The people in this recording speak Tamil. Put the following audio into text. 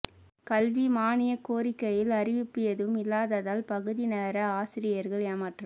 கல்வி மானிய கோரிக்கையில் அறிவிப்பு எதுவும் இல்லாததால் பகுதிநேர ஆசிரியர்கள் ஏமாற்றம்